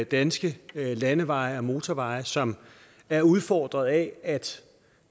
danske landeveje og motorveje som er udfordret af at